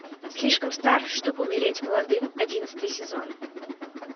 слишком стар чтобы умереть молодым одиннадцатый сезон